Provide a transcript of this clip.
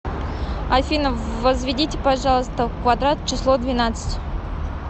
афина возведите пожалуйста в квадрат число двенадцать